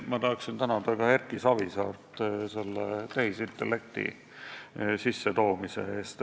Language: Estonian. Ma tahan tänada Erki Savisaart tehisintellekti teema sissetoomise eest.